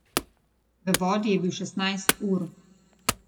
V vodi je bil šestnajst ur.